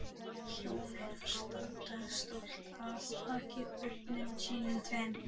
Hjónin standa stolt að baki börnum sínum tveim